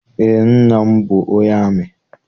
Eé, nna m bụ onye amị